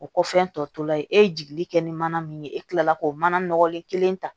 O kɔfɛ tɔlaye e ye jigili kɛ ni mana min ye e kila la k'o mana nɔgɔlen kelen ta